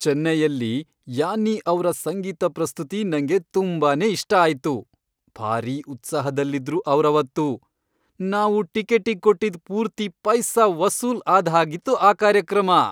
ಚೆನ್ನೈಯಲ್ಲಿ Yanni ಅವ್ರ ಸಂಗೀತ ಪ್ರಸ್ತುತಿ ನಂಗೆ ತುಂಬಾನೇ ಇಷ್ಟ ಆಯ್ತು. ಭಾರೀ ಉತ್ಸಾಹದಲ್ಲಿದ್ರು ಅವ್ರವತ್ತು, ನಾವು ಟಿಕೆಟ್ಟಿಗ್ ಕೊಟ್ಟಿದ್ ಪೂರ್ತಿ ಪೈಸಾ ವಸೂಲ್ ಆದ್ಹಾಗಿತ್ತು ಆ ಕಾರ್ಯಕ್ರಮ.